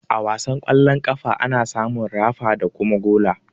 A wasan ƙwallon ƙafa, ana samun rafa da kuma gola.